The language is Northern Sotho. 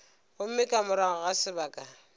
gomme ka morago ga sebaka